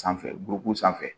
Sanfɛ gɔkuw sanfɛ